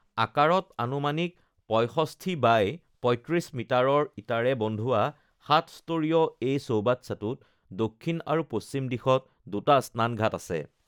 আকাৰত আনুমানিক পঁয়ষষ্ঠি বাই পঁয়ত্ৰিছ মিটাৰৰ ইটাৰে বন্ধোৱা সাত-স্তৰীয় এই চৌবাচ্চাটোত দক্ষিণ আৰু পশ্চিম দিশত দুটা স্নান ঘাট আছে